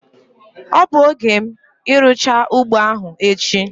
Ọ bụ oge m irucha ugbo ahu echi